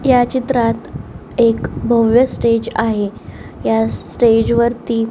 ह्या चित्रात एक भव्य स्टेज आहे ह्या स्टेज वरती --